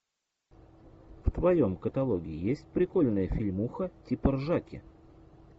в твоем каталоге есть прикольная фильмуха типа ржаки